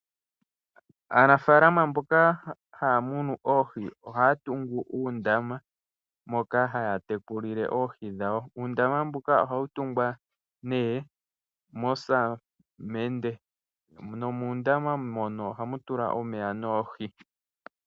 Aanafaalama mboka haya munu oohi ohaya tungu uundama moka haya tekulile oohii dhawo. Uundama mbuka ohawu tungwa nee mosamende nomo muundama mono ohamu tulwa omeya noohi.